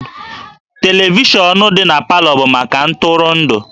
Televishọnụ dị na Palọ bụ maka ntụrụndụ